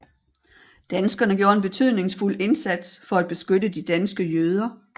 Danskerne gjorde en betydningsfuld indsats for at beskytte de danske jøder